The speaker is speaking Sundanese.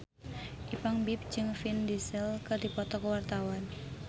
Ipank BIP jeung Vin Diesel keur dipoto ku wartawan